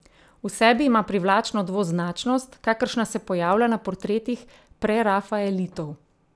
V sebi ima privlačno dvoznačnost, kakršna se pojavlja na portretih prerafaelitov.